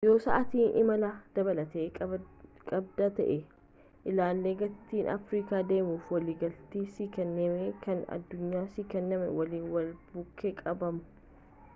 yoo sa'aatii imalaa dabalataa qabda ta'e ilaali gatiin afrikaa deemuf waliigalati si kenname kan addunyaaf si kenname waliin wal bukkee qabamu